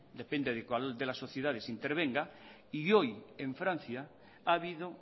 depende de cuál de las sociedades intervenga y hoy en francia ha habido